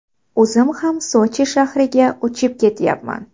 O‘zim ham Sochi shahriga uchib ketyapman.